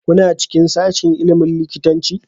Kuna cikin sashin ilimin likitanci?